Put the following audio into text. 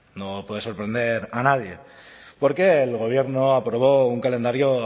no puede sorprender a nadie porque el gobierno aprobó un calendario